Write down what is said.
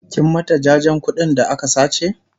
kin mata jajen ƙuɗin ta da aka sace?